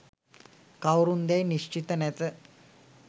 කවුරුන්දැයි නිශ්චිත නැත